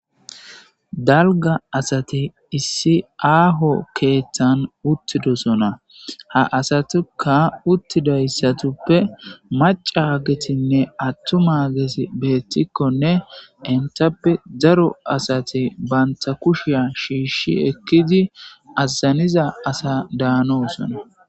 Dalga asate issi aaho keeththan uttidosona ha asatuka uttidayssatuppe macagetinne attuma gesi beettikkonne entappe zaro asati banta kushiya shiishi ekkidi aazaniza asa daanoo sona.